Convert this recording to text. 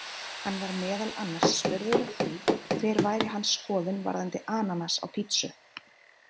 Hann var meðal annars spurður að því hver væri hans skoðun varðandi ananas á pizzu?